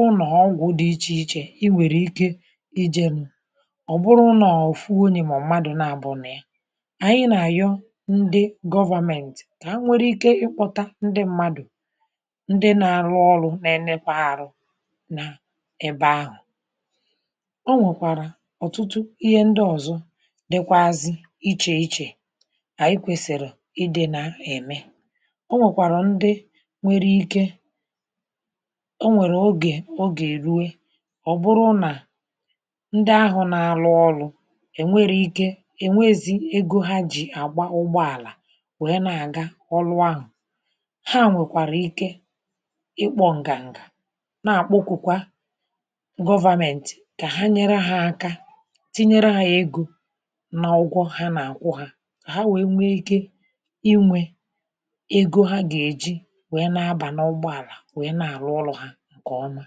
ụnọ ọgwụ dị iche iche ịnwere ike ịjenu ọ bụrụ nọọ ofu onye maọbụ mmadụ nabọ nọ na ya ànyị na-ayọ ndị government ka ha nwee ike kpọta ndị mmadụ ndị na-alụ ọlụ na-enekwa arụ na ebe ahụ ọ nwekwara ọtụtụ ihe ndị ọzọ dịkwaazị iche iche ànyị kwẹ̀sị̀rị̀ ịdị̇ nȧ ẹ̀mẹ o nwèkwàrà ndị nwere ike o nwèrè ogè ogè rue ọ̀ bụrụ nà ndị ahụ̇ nȧ alụ ọlụ̇ è nwere ike è nwezi egȯ ha jì àgba ụgbọàlà wee nȧ àga ọlụ ahụ̀ ha à nwèkwàrà ike ikpọ̇ ǹgà ǹgà na-àkpọkwụkwa government kà ha nyere ha aka tinyere ha egȯ na ụgwọ ha nà àkwụ hȧ ha wee nwee ike inwe ego ha gà-èji wee na-aba n’ọgbọ àlà wee na-àrụ ọrụ̇ hȧ ǹkè ọma